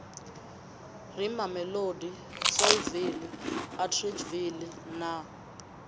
re mamelodi saulsville atteridgeville na